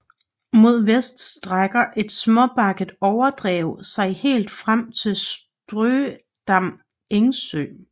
Mod vest strækker et småbakket overdrev sig helt frem til Strødam Engsø